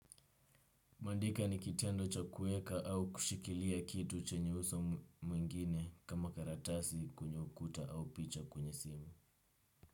Mandika ni kitendo cha kuweka au kushikilia kitu chenye uso mwingine kama karatasi kwenye ukuta au picha kwenye simu.